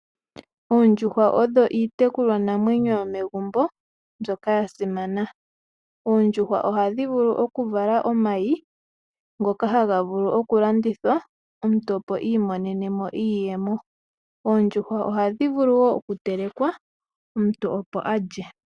Oondjuhwa odho iitekulwa namwenyo yomegumbo mbyoka yasimana, oondjuhwa oha dhi vulu oku vala omayi ngoka haga vulu okulanditha opo omuntu a imonene iiyemo oondjuhwa oha dhi vulu wo oku telekwa omuntu opo a lye.